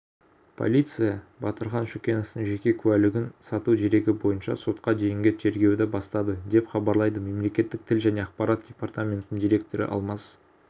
полиция батырхан шүкеновтың жеке куәлігін сату дерегі бойынша сотқа дейінгі тергеуді бастады деп хабарлайды мемлекеттік тіл және ақпарат департаментінің директоры алмас